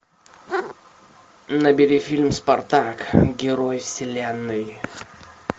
набери фильм спартак герой вселенной